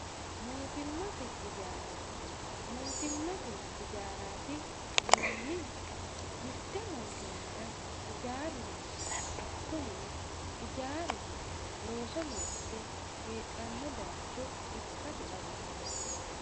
mootimmate ijaara mootimmate ijaaraati yinannihu mitte mootimmara ijaaru noose kunino ijaaru looso loosse heedhanno baayiicho ikkasi dhawisanno.